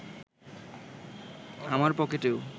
আমার পকেটেও